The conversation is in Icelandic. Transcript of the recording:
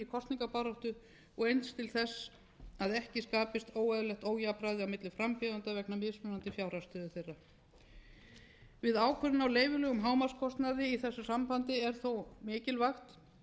kosningabaráttu og eins til þess að ekki skapist óeðlilegt ójafnræði á milli frambjóðenda vegna mismunandi fjárhagsstöðu þeirra við ákvörðun á leyfilegum hámarkskostnaði í þessu sambandi er þó mikilvægt